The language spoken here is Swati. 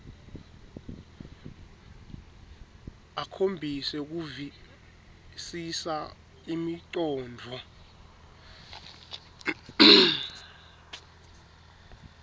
akhombise kuvisisa imicondvo